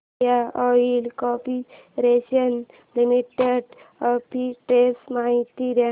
Indian Oil Corporation Limited arbitrage माहिती दे